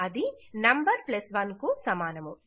అది నమ్ 1 కు సమానము